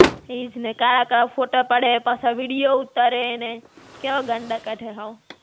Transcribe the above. ઈજ ને. કાળા-કાળા ફોટા પાડે ને પાછા video ઉતારે ને, કેવા ગાંડા કાઢે હાવ.